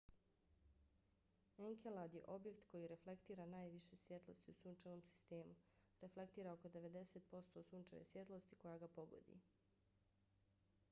enkelad je objekt koji reflektira najviše svjetlosti u sunčevom sistemu; reflektira oko 90 posto sunčeve svjetlosti koja ga pogodi